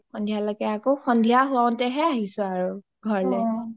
সন্ধিয়া লেকে আকৌ সন্ধিয়া হওতেহে আহিছো আৰু ঘৰলে